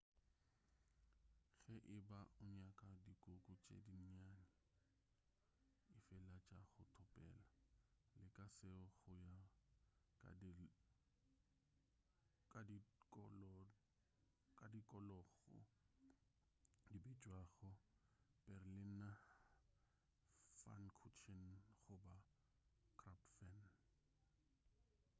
ge e ba o nyaka dikuku tše dinnyane efala tša go topela leka seo go ya ka tikologo di bitšwago berliner pfannkuchen goba krapfen